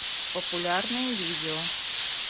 популярные видео